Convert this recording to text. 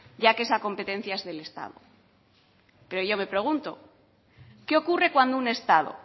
ya que esa competencia es del estado pero yo me pregunto qué ocurre cuando un estado